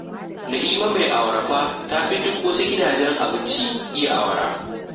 Na'ima mai awara fa ta fi duk wasu gidajen abinci iya awara